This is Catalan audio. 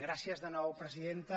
gràcies de nou presidenta